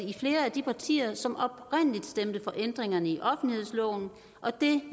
i flere af de partier som oprindelig stemte for ændringerne i offentlighedsloven og det